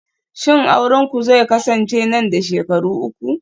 shin aurenku zai kasance nan da shekaru uku